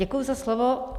Děkuji za slovo.